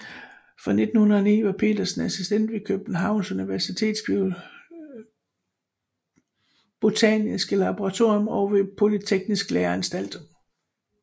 Fra 1909 var Petersen assistent ved Københavns Universitets botaniske laboratorium og ved Polyteknisk Læreanstalt